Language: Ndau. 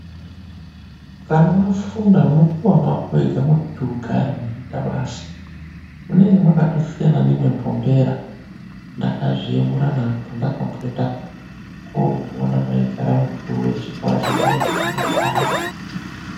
Kana wafunda unopuwa mwako wega mwekuti ugare weyiita basa makatosiyana nemembombera ndakazviyemurana pandakaenda koona maigara mukuru wechikoro chandaifunda kudhaya.